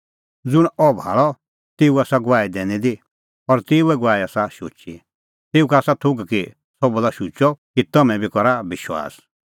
ज़ुंणी अह भाल़अ तेऊ आसा गवाही दैनी दी और तेऊए गवाही आसा शुची तेऊ का आसा थोघ कि सह बोला शुचअ कि तम्हैं बी करा विश्वास